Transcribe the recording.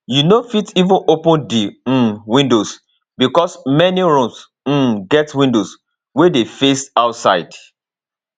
you no fit even open di um windows becos many rooms um get windows wey dey face outside